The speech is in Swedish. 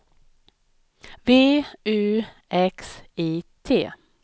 V U X I T